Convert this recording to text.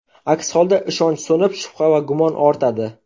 Aks holda ishonch so‘nib, shubha va gumon ortadi.